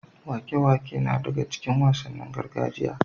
Waƙe-waƙe na daga cikin wasannin gargajiya.